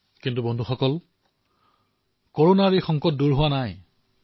কিন্তু বন্ধুসকল কৰোনাৰ বিপদ এতিয়াও আঁতৰা নাই